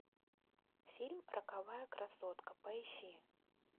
фильм роковая красотка поищи